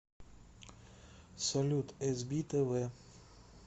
салют эс би тэ вэ